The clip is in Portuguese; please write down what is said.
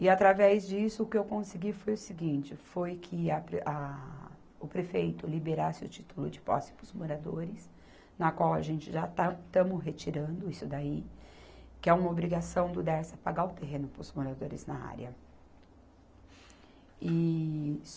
E, através disso, o que eu consegui foi o seguinte, foi que a pre, a, o prefeito liberasse o título de posse para os moradores, na qual a gente já está, estamos retirando isso daí, que é uma obrigação do Dersa pagar o terreno para os moradores na área. E